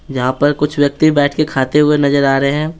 यहां पर कुछ व्यक्ति बैठ के खाते हुए नजर आ रहे हैं।